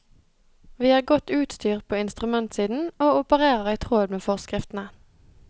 Vi er godt utstyrt på instrumentsiden, og opererer i tråd med forskriftene.